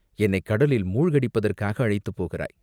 என்னைக் கடலில் மூழ்க அடிப்பதற்காக அழைத்துப் போகிறாய்.